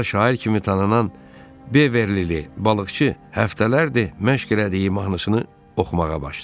Sonra da şair kimi tanınan Beverlili balıqçı həftələrdir məşq elədiyi mahnısını oxumağa başladı.